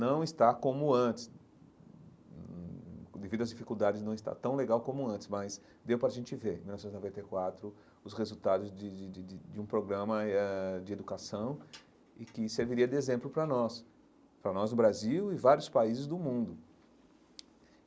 Não está como antes, devido às dificuldades, não está tão legal como antes, mas deu para a gente ver né, em mil novecentos e noventa e quatro, os resultados de de de de de um programa e eh de educação e que serviria de exemplo para nós, para nós no Brasil e vários países do mundo.